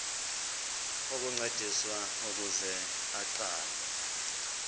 ukuncediswa ukuze aqale